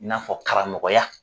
N'a fɔ karamɔgɔya